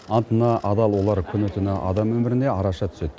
антына адал олар күні түні адам өміріне араша түседі